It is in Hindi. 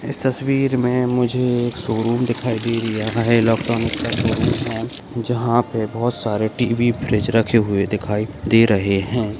इस तस्वीर में मुझे एक शोरूम दिखाई दे री है यहां एक इलेक्ट्रॉनिक का शोरूम है जहाँ पे बहुत सारे टी.वी. फ्रिज रखे हुए दिखाई दे रहे हैं।